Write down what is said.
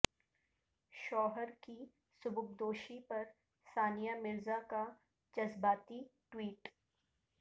شوہر کی سبکدوشی پر ثانیہ مرزا کا جذباتی ٹوئیٹ